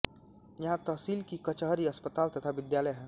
यहाँ तहसील की कचहरी अस्पताल तथा विद्यालय हैं